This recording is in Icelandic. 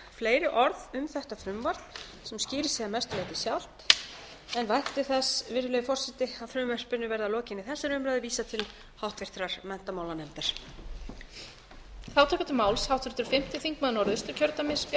fleiri orð um þetta frumvarp sem skýrir sig að mestu leyti sjálft en vænti þess virðulegi forseti að frumvarpinu verði að lokinni þessari umræðu vísað til háttvirtrar menntamálanefndar